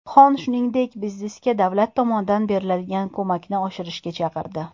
Xon, shuningdek, biznesga davlat tomonidan beriladigan ko‘makni oshirishga chaqirdi.